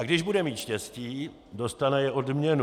A když bude mít štěstí, dostane i odměnu.